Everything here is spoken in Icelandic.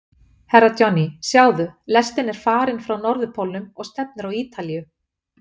Herra Johnny, sjáðu, lestin er farin frá Norðurpólnum og stefnir á Ítalíu.